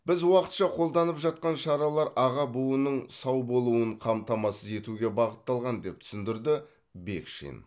біз уақытша қолданып жатқан шаралар аға буынның сау болуын қамтамасыз етуге бағытталған деп түсіндірді бекшин